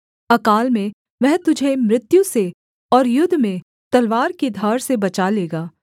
अकाल में वह तुझे मृत्यु से और युद्ध में तलवार की धार से बचा लेगा